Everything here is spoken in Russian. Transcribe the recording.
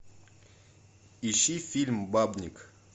ищи фильм бабник